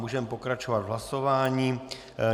Můžeme pokračovat v hlasování.